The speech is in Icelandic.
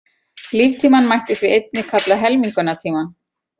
Líftímann mætti því einnig kalla helmingunartíma.